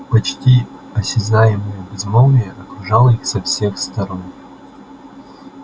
почти осязаемое безмолвие окружало их со всех сторон